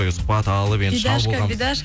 сұхбат алып енді шал болғанбыз